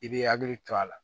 I b'i hakili to a la